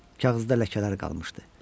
Kağızda ləkələr qalmışdı.